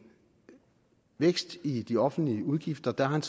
vækst i de offentlige udgifter der har en